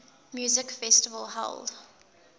music festival held